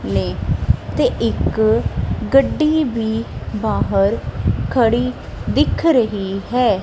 ਨੇ ਤੇ ਇੱਕ ਗੱਡੀ ਵੀ ਬਾਹਰ ਖੜੀ ਦਿਖ ਰਹੀ ਹੈ।